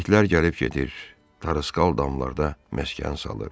İtlər gəlib gedir, tarısqal damlarda məskən salır.